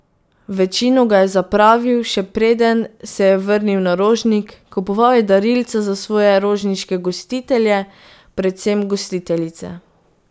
Večino ga je zapravil, še preden se je vrnil na Rožnik, kupoval je darilca za svoje rožniške gostitelje, predvsem gostiteljice.